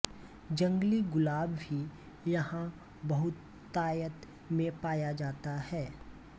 जंगली ग़ुलाब भी यहाँ बहुतायत में पाया जाता है